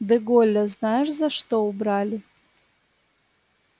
де голля знаешь за что убрали